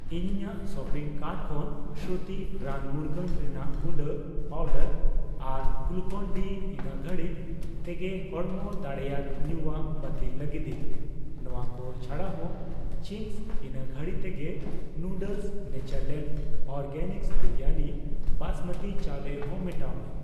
ᱤᱧ ᱤᱧᱟᱜ shopping cart ᱠᱷᱚᱱ ᱥᱨᱩᱛᱤ'ᱥ ᱨᱟᱱ ᱢᱩᱨᱜᱟᱹᱱ ᱨᱮᱱᱟᱜ ᱜᱩᱰᱟᱹ ᱯᱟᱣᱰᱟᱨ ᱟᱨ ᱜᱞᱩᱠᱚᱱᱼᱰᱤ ᱤᱱᱟᱹ ᱜᱷᱟᱹᱲᱤᱡ ᱛᱮᱜᱮ ᱦᱚᱲᱢᱚ ᱫᱟᱲᱮᱭᱟᱱ ᱧᱩᱣᱟᱹᱜ ᱵᱟᱹᱛᱤᱞ ᱞᱟᱹᱜᱤᱫᱤᱧ ᱾ ᱱᱚᱣᱟ ᱠᱚ ᱪᱷᱟᱰᱟᱦᱚᱸ, ᱪᱤᱝᱜᱥ ᱤᱱᱟᱹ ᱜᱷᱟᱲᱤ ᱛᱮᱜᱮ noodles, Natureland Organics biryani basmati ᱪᱟᱣᱞᱮ ᱦᱚᱸ ᱢᱮᱴᱟᱣ ᱢᱮ ᱾